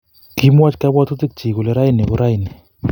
Kimwoch kabwatutikchi kole raini ko raini